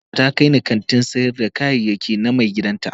Abokiata ta kai ni kantin sayar da kayayyaki na maigidan ta